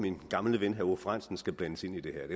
min gamle ven herre aage frandsen skal blandes ind i det her